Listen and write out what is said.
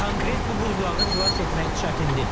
Konkret bu buzlağı xilas etmək çətindir.